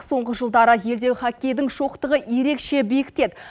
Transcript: соңғы жылдары елдегі хоккейдің шоқтығы ерекше биіктеді